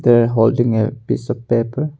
They are holding a piece of paper.